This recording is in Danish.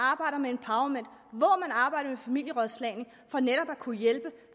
arbejder med familierådslagning for netop at kunne hjælpe